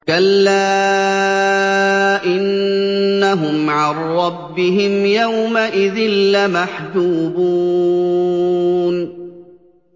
كَلَّا إِنَّهُمْ عَن رَّبِّهِمْ يَوْمَئِذٍ لَّمَحْجُوبُونَ